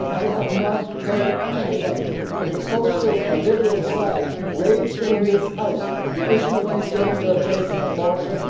I have not heard anybody from the Socialist or Liberal side raise in this House the issue of gender based abortion.